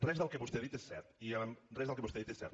res del que vostè ha dit és cert res del que vostè ha dit és cert